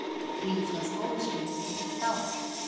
Frí frá skólaskyldu í heilt ár